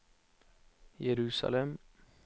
Jerusalem